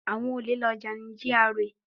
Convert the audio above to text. Àwọn olè lọ jà ní GRA